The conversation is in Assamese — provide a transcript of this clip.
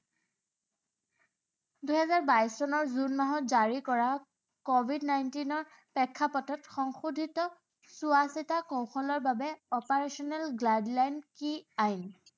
দুহেজাৰ বাইশ চনৰ জুন মাহত জাৰি কৰা, covid nineteen ৰ প্ৰেক্ষাপটত সংশোধিত চোৱা চিতা কৌশলৰ বাবে operational guideline কি আইন?